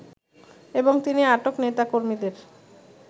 এবং তিনি আটক নেতাকর্মীদের